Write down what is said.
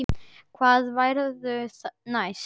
Hvað verður næst?